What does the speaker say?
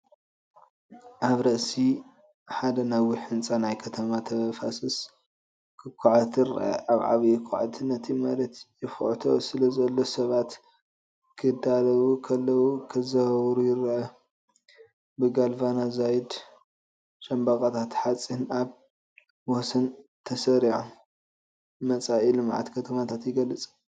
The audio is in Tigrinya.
ኣብ ርእሲ ሓደ ነዊሕ ህንጻ ናይ ከተማ ተፋሰስ ክኹዓት ይርአ። ሓደ ዓብይ ኳዕቲ ነቲ መሬት ይኹዕቶ ስለዘሎ ሰባት ክዳለዉ ከለዉ ክዘዋወሩ ይረኣዩ። ብጋልቫናይዝድ ሻምብቆታት ሓጺን ኣብ ወሰናስን ተሰሪዖም፡ መጻኢ ልምዓት ከተማታት ይገልጽ።